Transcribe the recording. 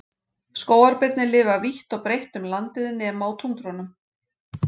Skógarbirnir lifa vítt og breytt um landið nema á túndrunum.